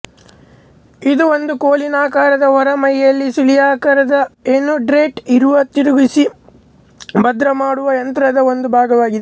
ಇದು ಒಂದು ಕೋಲಿನಾಕಾರದ ಹೊರಮೈಯಲ್ಲಿ ಸುರುಳಿಯಾಕಾರದ ಏಣುಥ್ರೆಡ್ ಇರುವ ತಿರುಗಿಸಿ ಭದ್ರಮಾಡುವ ಯಂತ್ರದ ಒಂದು ಭಾಗವಾಗಿದೆ